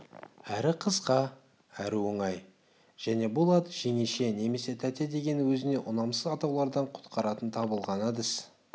әрі қысқа әрі оңай және бұл ат жеңеше немесе тәте деген өзіне ұнамсыз атаулардан құтқаратын табылған әдіс